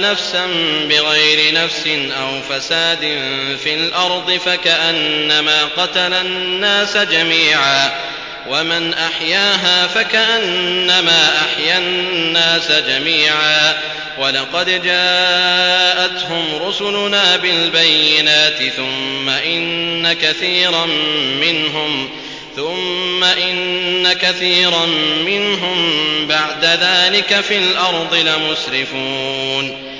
نَفْسًا بِغَيْرِ نَفْسٍ أَوْ فَسَادٍ فِي الْأَرْضِ فَكَأَنَّمَا قَتَلَ النَّاسَ جَمِيعًا وَمَنْ أَحْيَاهَا فَكَأَنَّمَا أَحْيَا النَّاسَ جَمِيعًا ۚ وَلَقَدْ جَاءَتْهُمْ رُسُلُنَا بِالْبَيِّنَاتِ ثُمَّ إِنَّ كَثِيرًا مِّنْهُم بَعْدَ ذَٰلِكَ فِي الْأَرْضِ لَمُسْرِفُونَ